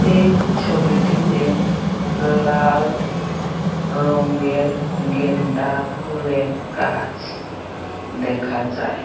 এই ছবিটিতে লাল রঙ্গের গেন্ডা ফুলের গাছ দেখা যায়।